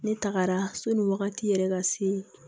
Ne tagara so ni wagati yɛrɛ ka se